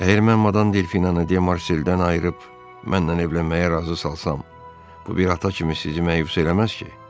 Əgər mən Madam Delfinanı Dia Marseldən ayırıb, mənimlə evlənməyə razı salsam, bu bir ata kimi sizi məyus eləməz ki?